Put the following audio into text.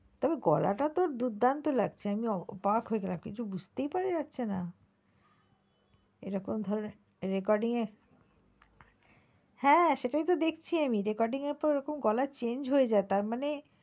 তবে গলা টা তোর দুর্দান্ত লাগছে আমি অবাক হয়ে গেছিলাম কিছু বুঝতেই পারা যাচ্ছে না এরকম ধরনের recording এ হ্যাঁ সেটাই তো দেখছি আমি recording এ তোর গলা এমন change হয়ে যায় তার মানে,